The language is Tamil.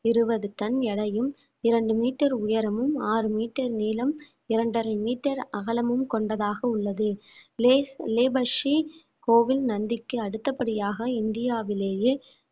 இருபது டன் எடையும் இரண்டு metre உயரமும் ஆறு metre நீளம் இரண்டரை metre அகலமும் கொண்டதாக உள்ளது place labour கோவில் நந்திக்கு அடுத்தபடியாக இந்தியாவிலேயே